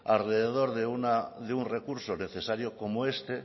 alrededor de un recurso necesario como este